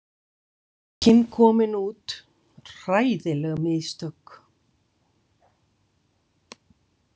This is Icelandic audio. Bókin komin út, hræðileg mistök.